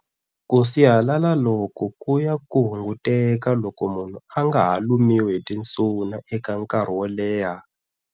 Kusihalala loku kuya ku hunguteka loko munhu anga ha lumiwi hitinsuna eka enkarhi woleha.